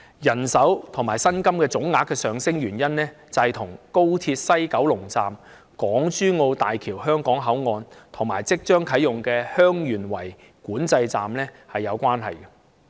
人手和薪金總額上升的原因，與廣深港高速鐵路香港段西九龍站、港珠澳大橋香港口岸，以及即將啟用的蓮塘/香園圍口岸有關。